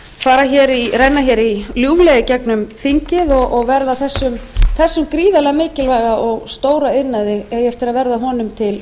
eigi eftir að renna hér ljúflega í gegnum þingið og verða þessum gríðarlega mikilvæga og stóra iðnaði að verða þannig til